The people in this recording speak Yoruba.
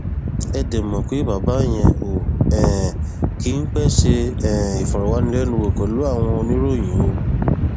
ẹ dé mọ pé bàbá yẹn ò um kì í pẹẹ ṣe um ìfọrọwánilẹnuwò pẹlú àwọn oníròyìn o